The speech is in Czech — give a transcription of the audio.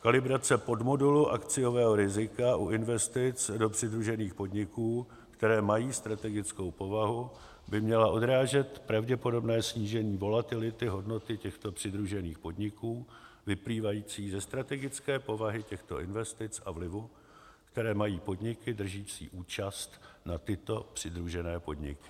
Kalibrace podmodulu akciového rizika u investic do přidružených podniků, které mají strategickou povahu, by měla odrážet pravděpodobné snížení volatility hodnoty těchto přidružených podniků vyplývající ze strategické povahy těchto investic a vlivů, které mají podniky držící účast na tyto přidružené podniky.